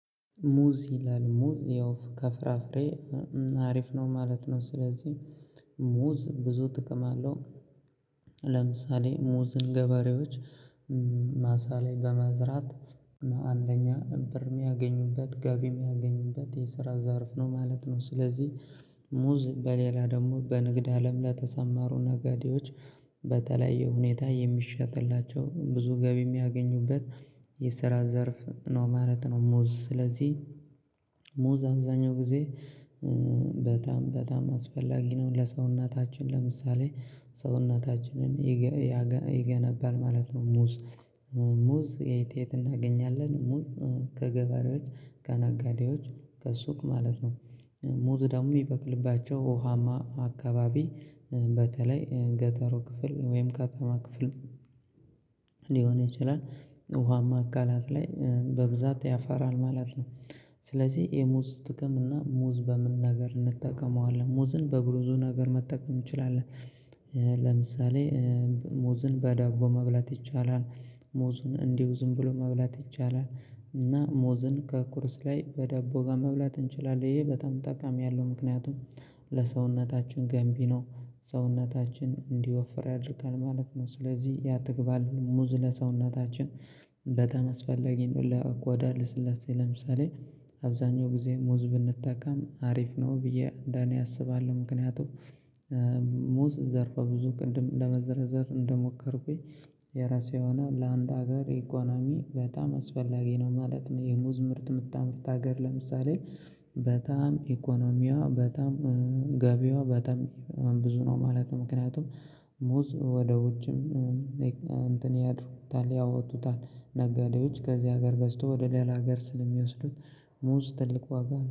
ሙዝ ይላል ሙዝ ያው ከፍራፍሬ አሪፍ ነው ማለት ነው። ስለዚህ ሙዝ ብዙ ጥቅም አለው። ለምሳሌ ሙዝን ገበሬዎች ማሳ ላይ በመዝራት አንደኛ ብር የሚያገኙበት ገቢ የሚያገኙበት የስራ ዘርፍ ነው ማለት ነው። ስለዚህ ሙዝ በሌላ ደግሞ በንግድ አለም ለተሰማሩ ነጋዴዎች በተለያየ ሁኔታ የሚሸጥላቸው ብዙ ገቢ የሚያገኙበት የስራ ዘርፍ ነው ማለት ነው። ሙዝ ስለዚህ ሙዝ አብዛኛው ጊዜ በጣም በጣም አስፈላጊ ነው ለሰውነታችን ለምሳሌ ሰውነታችንን ይገነባል ማለት ነው። ሙዝ ሙዝ የት የት ሙዝ ከገበሬዎች ከነጋዴዎች ከሱቅ ማለት ነው። ሙዝ ደግሞ የሚበቅልባቸው ውሃማ አካባቢ በተለይ ገጠሩ ክፍል ወይም ከተማ ክፍል ሊሆን ይችላል ውሃማ አካላት ላይ በብዛት ያፈራል ማለት ነው። ስለዚህ የሙዝ ጥቅም እና ሙዝ በምን ነገር እንጠቀመዋለን ሙዝን በብዙ ነገር መጠቀም እንችላለን። ለምሳሌ ሙዝን በዳቦ መብላት ይቻላል ሙዝን እንዲሁ ዝም ብሎ መብላት ይቻላል። እና ሙዝን ከቁርስ ላይ በዳቦ ጋር መብላት እንችላለን ይሄ በጣም ጠቃሚ ያለው ምክንያቱም ለሰውነታችን ገንቢ ነው። ሰውነታችን እንዲወፍር ያደርጋል ማለት ነው ስለዚህ ያጠግባል ሙዝ ለሰውነታችን በጣም አስፈለጊ ነው። ለቆዳ ልስላሴ ለምሳሌ አብዛኛው ጊዜ ሙዝ ብንጠቀም አሪፍ ነው ብዬ እንደኔ አስባለሁ። ምክንያቱ ሙዝ ዘርፈ ብዙ ቅድም ለመዘርዘር እንደሞከርኩኝ የራሱ የሆነ ለአንድ ሀገር ኢኮኖሚ በጣም አስፈላጊ ነው ማለት ነው። የሙዝ ምርት የምታመርት ሀገር ለምሳሌ በጣም ኢኮኖሚዋ በጣም ገቢዋ በጣም ብዙ ነው ማለት ነው። ምክንያቱም ሙዝ ወደ ውጭም እንትን ያድርጉታል ያወጡታል ነጋዴዎች ከዚህ ሀገር ገዝተው ወደ ሌላ ሀገር ስለሚወስዱት ሙዝ ትልቅ ዋጋ አለው